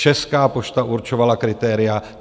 Česká pošta určovala kritéria.